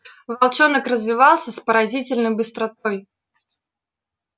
волчонок развивался с поразительной быстротой